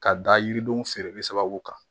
Ka da yiridenw feereli sababu kan